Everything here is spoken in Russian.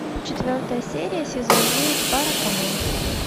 четвертая серия сезон девять баракамон